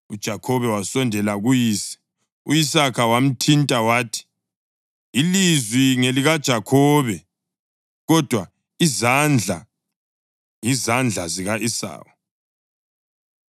UJakhobe wasondela kuyise u-Isaka wamthinta wathi, “Ilizwi ngelikaJakhobe, kodwa izandla yizandla zika-Esawu.”